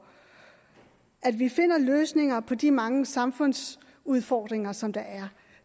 at vi finder løsninger på de mange samfundsudfordringer som der